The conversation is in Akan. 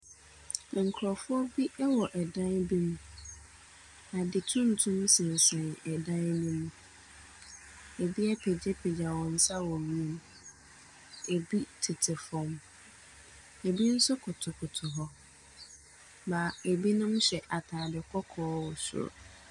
Nkurɔfoɔ bi wɔ ɛdan bi mu. Ade tuntum sensɛn ɛdan no mu. Ɛbi apagyapagya wɔn nsa wɔ wiem. Ɛbi tete fam. Ɛbi nso kotokoto hɔ, na ɛbinom hyɛ atade kɔkɔɔ wɔ soro.